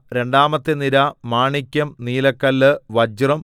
രണ്ടാമത്തെ നിര മാണിക്യം നീലക്കല്ല് വജ്രം